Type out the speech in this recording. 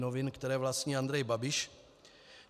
Novin, které vlastní Andrej Babiš.